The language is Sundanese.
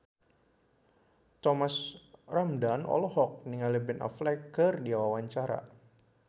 Thomas Ramdhan olohok ningali Ben Affleck keur diwawancara